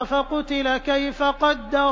فَقُتِلَ كَيْفَ قَدَّرَ